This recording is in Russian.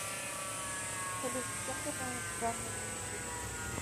салют чем ты занят в данное время суток